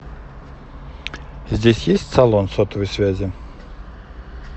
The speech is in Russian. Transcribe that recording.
здесь есть салон сотовой связи